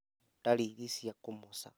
Ndariri cia kũmoca